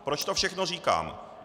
Proč to všechno říkám?